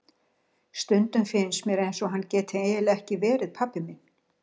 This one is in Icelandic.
Stundum finnst mér eins og hann geti eiginlega ekki verið pabbi minn.